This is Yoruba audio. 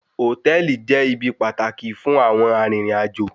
Hòtẹ́ẹ̀lì jẹ́ ibi pàtàkì fún àwọn arìnrìn-àjò.